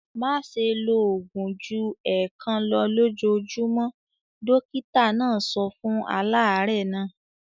"Má ṣe lo òògùn ju ẹ̀ẹ̀kan lọ lójúmọ́! Dọ́kítá náà sọ fún aláàárẹ̀ náà.